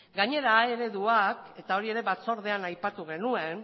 gainera a ereduak eta hori ere batzordean aipatu genuen